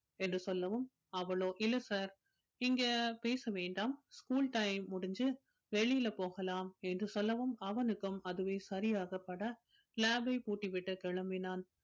என்று சொல்லவும் அவளோ இல்லை sir இங்க பேச வேண்டாம் school time முடிஞ்சு வெளியில போகலாம் என்று சொல்லவும் அவனுக்கும் அதுவே சரியாகப்பட lab ஐ பூட்டிவிட்டு கிளம்பினான்